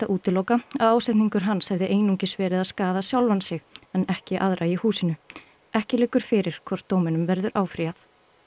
útiloka að ásetningur hans hefði einungis verið að skaða sjálfan sig en ekki aðra í húsinu ekki liggur fyrir hvort dóminum verður áfrýjað